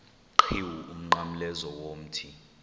qhiwu umnqamlezo womthi